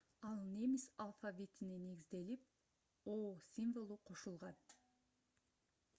ал немис алфавитине негизиделип õ / õ символу кошулган